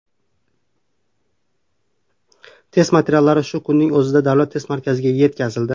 Test materiallari shu kunning o‘zida Davlat test markaziga yetkazildi”.